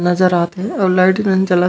नज़र आथे आऊ लाइट मन जलत--